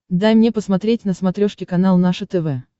дай мне посмотреть на смотрешке канал наше тв